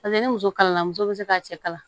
Paseke ni muso kalanna muso bɛ se ka cɛ kalan